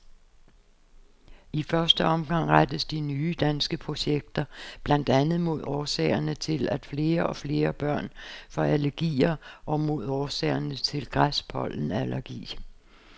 I første omgang rettes de nye danske projekter blandt andet mod årsagerne til, at flere og flere børn får allergier og mod årsagerne til græspollenallergi.